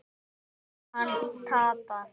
Getur hann tapað!